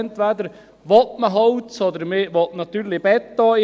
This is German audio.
Entweder will man Holz, oder man will natürlich Beton.